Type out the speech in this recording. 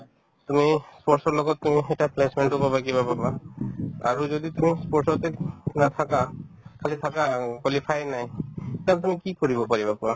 তুমি sports ৰ লগত তুমি শিকা placement তো পাবা কিবা পাবা আৰু যদি তুমি sports তে নাথাকা খালি থাকা অ qualify য়ে নাই tab তুমি কি কৰিব পাৰিবা কোৱা